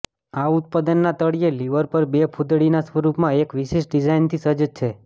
આ ઉત્પાદનના તળિયે લિવર પર બે ફૂદડીના સ્વરૂપમાં એક વિશિષ્ટ ડિઝાઇનથી સજ્જ છે